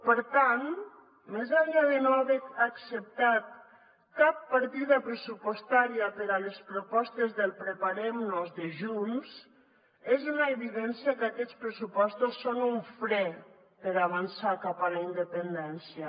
per tant més enllà de no haver acceptat cap partida pressupostària per a les propostes del preparem nos de junts és una evidència que aquests pressupostos són un fre per avançar cap a la independència